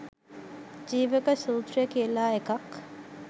ජීවක සූත්‍රය කියල එකක්